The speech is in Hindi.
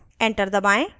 enter दबाएं